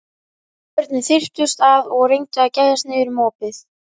Börnin þyrptust að og reyndu að gægjast niður um opið.